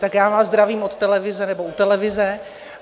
Tak já vás zdravím od televize nebo u televize.